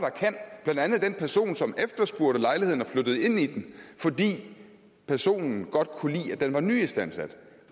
der andet den person som efterspurgte lejligheden og flyttede ind i den fordi personen godt kunne lide at den var en nyistandsat